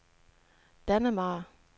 Dannemare